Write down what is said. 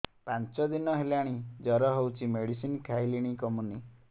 ପାଞ୍ଚ ଦିନ ହେଲାଣି ଜର ହଉଚି ମେଡିସିନ ଖାଇଲିଣି କମୁନି